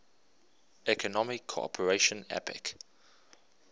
economic cooperation apec